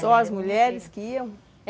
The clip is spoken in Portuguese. Só as mulheres que iam?